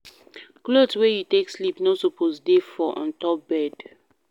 Cloth wey you take sleep no suppose dey for ontop bed